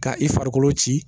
Ka i farikolo ci